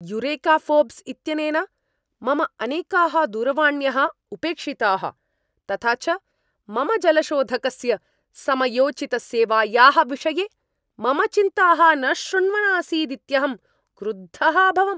Eureka Forbes इत्यनेन मम अनेकाः दूरवाण्यः उपेक्षिताः, तथा च मम जलशोधकस्य समयोचितसेवायाः विषये मम चिन्ताः न शृण्वन् आसीदित्यहं क्रुद्धः अभवम्।